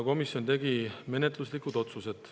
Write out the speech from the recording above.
Komisjon tegi menetluslikud otsused.